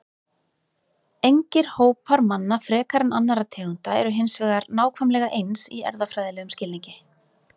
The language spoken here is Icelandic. Engir hópar manna frekar en annarra tegunda eru hins vegar nákvæmlega eins í erfðafræðilegum skilningi.